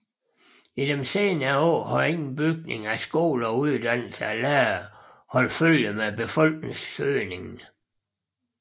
I senere år har ingen bygning af skoler og uddannelse af lærere holdt følge med befolkningsøgningen